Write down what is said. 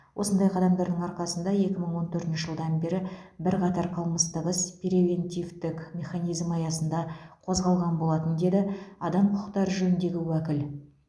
осындай қадамдардың арқасында екі мың он төртінші жылдан бері бірқатар қылмыстық іс превентивтік механизм аясында қозғалған болатын деді адам құқықтары жөніндегі уәкіл